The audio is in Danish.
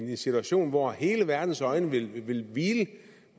i en situation hvor hele verdens øjne vil hvile